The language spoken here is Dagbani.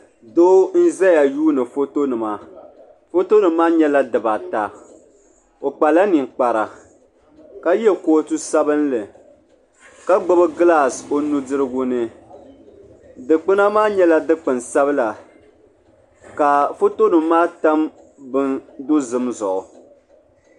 Doo n-zaya yuuni fotonima fotonima maa nyɛla dibata o kpala ninkpara ka ye kootu sabinli ka gbubi gilasi o nudirigu ni dukpuna maa nyɛla dukpun'sabila ka fotonima maa tam bini dozim zuɣu.